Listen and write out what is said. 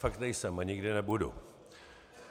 Fakt nejsem a nikdy nebudu.